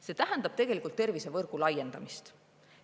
See tähendab tegelikult tervisevõrgu laiendamist.